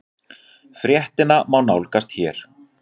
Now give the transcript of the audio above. Fréttina má nálgast hér